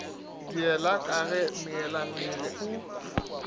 diela ka ge meelemmele o